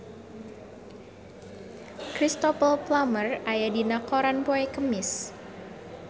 Cristhoper Plumer aya dina koran poe Kemis